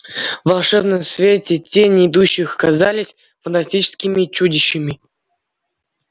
в волшебном свете тени идущих казались фантастическими чудищами